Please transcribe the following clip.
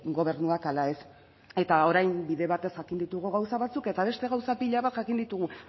gobernuak ala ez eta orain bide batez jakin ditugu gauza batzuk eta beste gauza pila bat jakin ditugu